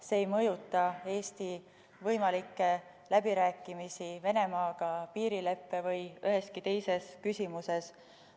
See ei mõjuta Eesti võimalikke läbirääkimisi Venemaaga piirileppe või üheski teises küsimuses.